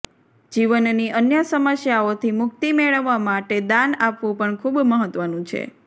જીવનની અન્ય સમસ્યાઓથી મુક્તિ મેળવવા માટે દાન આપવું પણ ખૂબ મહત્વનું છે